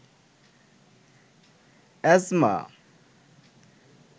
asthma